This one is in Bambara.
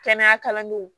Kɛnɛya kalandenw